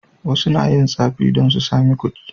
Wasu na yin tsafi domin su sami kuɗi.